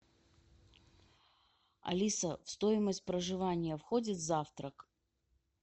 алиса в стоимость проживания входит завтрак